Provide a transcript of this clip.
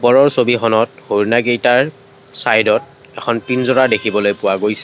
ওপৰৰ ছবিখনত হৰিণাকেইটাৰ চাইড ত এখন পিনঞ্জাৰা দেখিবলৈ পোৱা গৈছে।